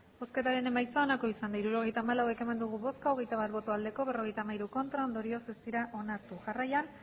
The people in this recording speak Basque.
hirurogeita hamalau eman dugu bozka hogeita bat bai berrogeita hamairu ez ondorioz ez dira onartu jarraian